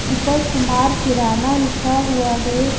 ऊपर कुमार किराना लिखा हुआ है।